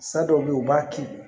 San dɔw bɛ ye u b'a kin